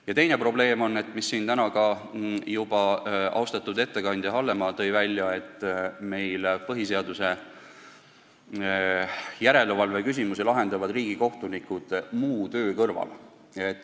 Ja teine probleem on – selle tõi täna juba ka austatud ettekandja Hallemaa välja –, et meil põhiseaduslikkuse järelevalve küsimusi lahendavad riigikohtunikud muu töö kõrvalt.